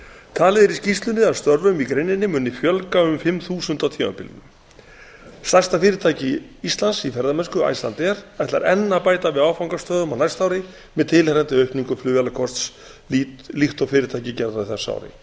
talið er í skýrslunni að störfum í greininni muni fjölga um fimm þúsund á tímabilinu stærsta fyrirtæki íslands í ferðamennsku icelandair ætlar enn að bæta við áfangastöðum á næsta ári með tilheyrandi aukningu flugvélakosts líkt og fyrirtækið gerði á þessu ári